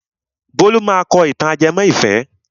Bólú máa kọ ìtàn ajẹmọ́ ìfẹ́.